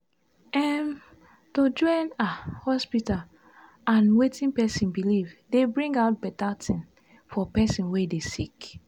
em- to join ah hospita and wetin pesin belief dey bring out beta tin for pesin wey dey sick